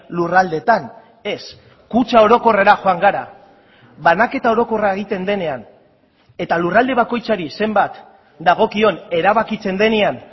lurraldetan ez kutxa orokorrera joan gara banaketa orokorra egiten denean eta lurralde bakoitzari zenbat dagokion erabakitzen denean